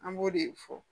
An b'o de fɔ